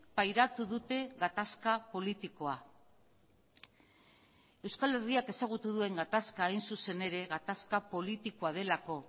pairatu dute gatazka politikoa euskal herriak ezagutu duen gatazka hain zuzen ere gatazka politikoa delako